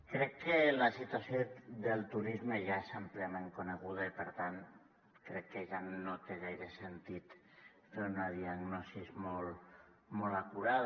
crec que la situació del turisme ja és àmpliament coneguda i per tant crec que ja no té gaire sentit fer una diagnosi molt acurada